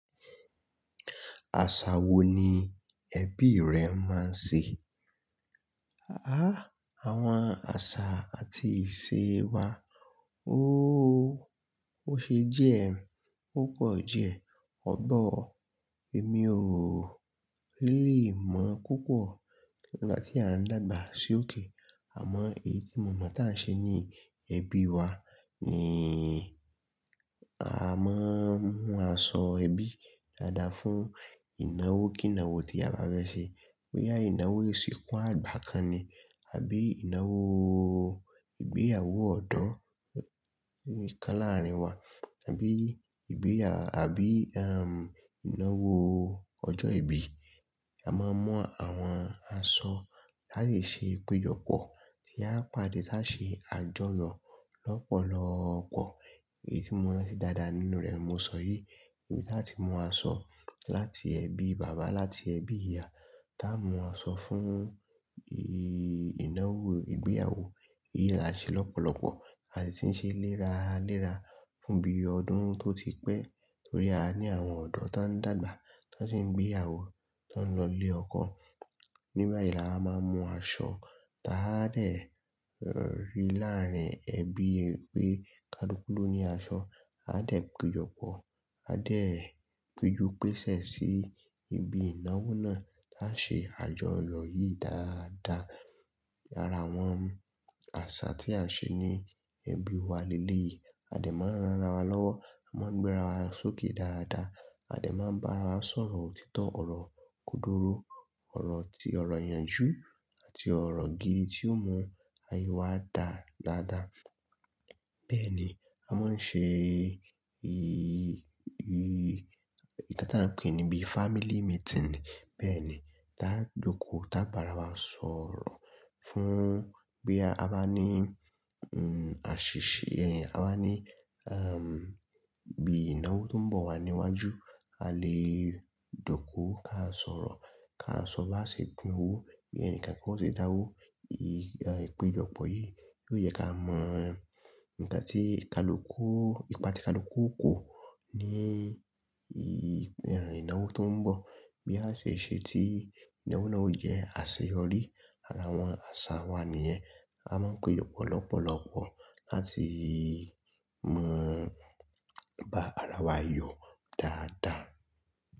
Àṣà wo ni ẹbí rẹ máa ń ṣe? Àá, àwọn àṣà àti ìṣe wa óóó, ó ṣe jẹ́ púpọ̀ jẹ. Ọ̀pọ̀, èmi ò lè mọ̀ púpọ̀ nígbà tí à ń dàgbà sí òkè. Àmọ́ èyí tí mo mọ̀ tá a ṣe ní ẹbí wa ni a máa ń mú aṣọ ẹbí dáadáa fún ìnáwó kí ìnáwó tí a bá fẹ́ ṣe. Bo yá ìnáwó ìsìnkú àgbà kan ni àbí ìnáwó ìgbéyàwó ọ̀dọ́ kan láàárín wa àbí ìgbéyà àbí am ìnáwó ọjọ́ ìbí. A máa mu àwọn aṣọ láti ṣe ìpéjọpọ̀ tí a yóò pàdé tá ṣe àjọyọ̀ lọ́pọ̀lọpọ̀. Èyí tí mo mọ̀ dáadáa nínú rẹ̀ mo sọ yìí. Ìbí táti mọ aṣọ láti ẹbí bàbá láti ẹbí ìyá tá mu aṣọ fún ìnáwó ìgbéyàwó yìí la ṣe lọ́pọ̀lọpọ̀ láti ń ṣe léra léra fún bí ọdún tó ti pẹ́ torí a ní àwọn ọ̀dọ́ tó ń dàgbà tó sì ń gbéyàwó tó ń lọ ilé ọkọ. Nígbà yìí là á máa mu aṣọ táa dẹ rí láàrín ẹbí pé ká lùkù ló ní aṣọ. A á dẹ̀ péjọpọ̀, a á dẹ̀ péju pẹsẹ̀ sí ibi ìnáwó náà tá ṣe àjọyọ̀ yìí dáadáa. Ara àwọn àṣà tí a ṣe ní ẹbí wa lélè yìí, a dẹ̀ máa ń ranra wa lọ́wọ́, a máa ń gbéra wa sókè dáadáa, a dẹ̀ máa ń bá ara wa sọ̀rọ̀ òtítọ́, ọ̀rọ̀ kúndùrú, ọ̀rọ̀ ti ọ̀rọ̀ ìyànjú àti ọ̀rọ̀ gidi tí ó mú ayé wa dá dáadáa. Bẹ́ẹ̀ ni, a máa ń ṣe ì ì ì ìká ta pé níbí family meeting ni. Bẹ́ẹ̀ ni, tá jọko tá bá ara wa sọ̀rọ̀ fún bí a bá ní n àṣìṣe ẹ̀yin, a bá ní am bí ìnáwó tó ń bọ̀ wá níwájú, a lè jọko ká sọ̀rọ̀ ká sọ bá ṣe pìn owó bí ẹnìkan kí wọ́n sì dáwó. Ì ì péjọpọ̀ yìí yóò yẹ ká mọ nǹkan tí ìkálùkù, ìpà tí ìkálùkù kò ní ì ìnáwó tó ń bọ̀ bí a ṣe ṣe tí ìnáwó náà ò jẹ́ àṣeyọrí. Ara àwọn àṣà wa nìyẹn. A máa ń péjọpọ̀ lọ́pọ̀lọpọ̀ láti mọ bá ara wa yọ dáadáa.